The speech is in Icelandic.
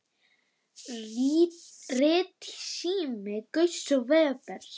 Ritsími Gauss og Webers.